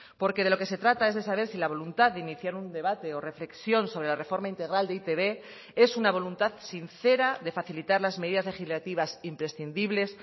porque de lo que se trata es de saber si la voluntad de iniciar un debate o reflexión sobre la reforma integral de e i te be es una voluntad sincera de facilitar las medidas legislativas imprescindibles